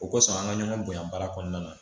O kosɔn an ka ɲɔgɔn bonyan baara kɔnɔna na